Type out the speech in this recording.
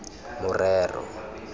morero